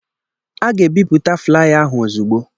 A ga-ebipụta flaya ahụ ozugbo.